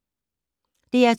DR2